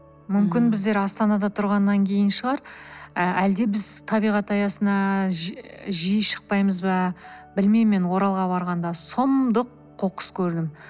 мүмкін біздер астанада тұрғаннан кейін шығар і әлде біз табиғат аясына жиі шықпаймыз ба білмеймін мен оралға барғанда сұмдық қоқыс көрдім